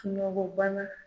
Sunɔgɔ banna.